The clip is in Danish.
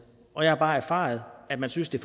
og jeg har bare erfaret at man synes det